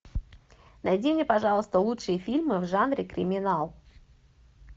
найди мне пожалуйста лучшие фильмы в жанре криминал